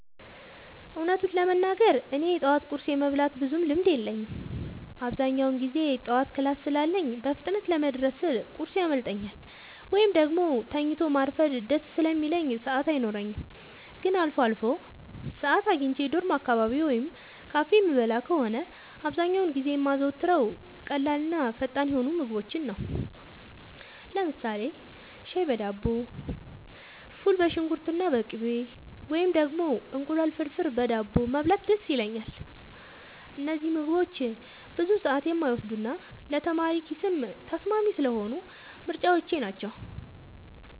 እውነቱን ለመናገር እኔ የጠዋት ቁርስ የመብላት ብዙም ልምድ የለኝም። አብዛኛውን ጊዜ ጠዋት ክላስ ስላለኝ በፍጥነት ለመድረስ ስል ቁርስ ያመልጠኛል፤ ወይም ደግሞ ተኝቶ ማርፈድ ደስ ስለሚለኝ ሰዓት አይኖረኝም። ግን አልፎ አልፎ ሰዓት አግኝቼ ዶርም አካባቢ ወይም ካፌ የምበላ ከሆነ፣ አብዛኛውን ጊዜ የማዘወትረው ቀላልና ፈጣን የሆኑ ምግቦችን ነው። ለምሳሌ ሻይ በዳቦ፣ ፉል በሽንኩርትና በቅቤ፣ ወይም ደግሞ እንቁላል ፍርፍር በዳቦ መብላት ደስ ይለኛል። እነዚህ ምግቦች ብዙ ሰዓት የማይወስዱና ለተማሪ ኪስም ተስማሚ ስለሆኑ ምርጫዎቼ ናቸው።